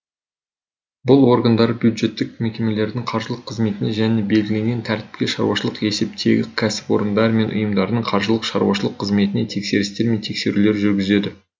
бұл органдар бюджеттік мекемелердің қаржылық қызметіне және белгіленген тәртіпте шаруашылық есептегі кәсіпорындар мен ұйымдардың қаржылық шаруашылық қызметіне тексерістер мен тексерулер жүргізеді